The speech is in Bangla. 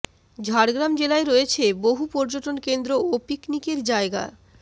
ঝাড়গ্রাম জেলায় রয়েছে বহু পযর্টন কেন্দ্র ও পিকনিকের জায়গা